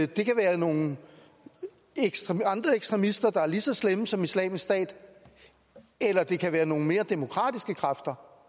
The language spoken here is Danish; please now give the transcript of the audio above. det kan være nogle andre ekstremister der er lige så slemme som islamisk stat eller det kan være nogle mere demokratiske kræfter